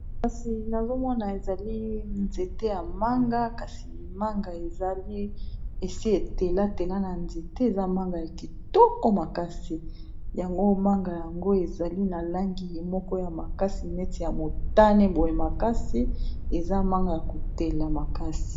Kasi nazomona ezali nzete ya manga kasi manga ezali esi etelatela na nzete eza manga ya kitoko makasi yango manga yango ezali na langi moko ya makasi neti ya motane boye makasi eza manga ya kotela makasi.